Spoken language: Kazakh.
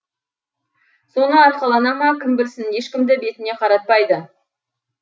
соны арқалана ма кім білсін ешкімді бетіне қаратпайды